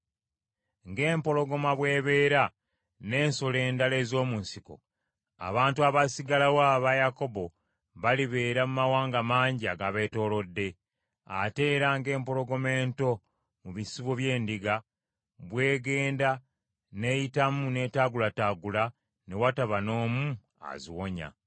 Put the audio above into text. Ng’empologoma bw’ebeera n’ensolo endala ez’omu nsiko, abantu abaasigalawo aba Yakobo balibeera mu mawanga mangi agabeetoolodde; ate era ng’empologoma ento mu bisibo by’endiga, bw’egenda n’eyitamu n’etaagulataagula ne wataba n’omu aziwonya.